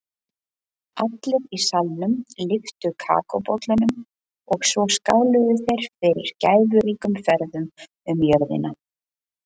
Allir í salnum lyftu kakóbollunum og svo skáluðu þeir fyrir gæfuríkum ferðum um jörðina.